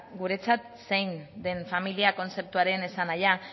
guretzat zein den familia kontzeptuaren esanahia